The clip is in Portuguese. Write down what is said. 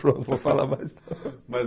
Pronto, vou falar mais. Mas